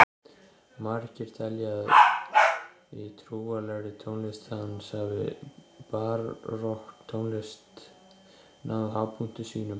Margir telja að í trúarlegri tónlist hans hafi barokktónlist náð hápunkti sínum.